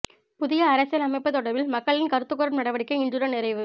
புதிய அரசியல் அமைப்பு தொடர்பில் மக்களின் கருத்துக் கோரும் நடவடிக்கை இன்றுடன் நிறைவு